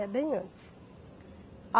É bem antes.